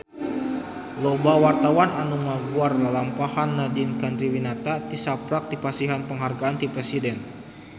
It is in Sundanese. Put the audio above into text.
Loba wartawan anu ngaguar lalampahan Nadine Chandrawinata tisaprak dipasihan panghargaan ti Presiden